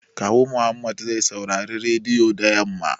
Kawu Muhammad zai saurari rediyo da yamma